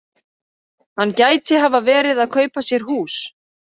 Hann gæti hafa verið að kaupa sér hús.